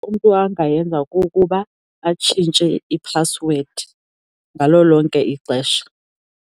Into angayenza kukuba atshintshe iphasiwedi ngalo lonke ixesha.